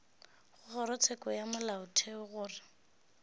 go kgorotsheko ya molaotheo gore